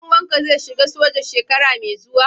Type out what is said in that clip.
dan uwanka zai shiga soja shekara mai zuwa?